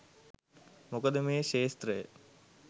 මොකද මේ ක්‍ෂේත්‍රය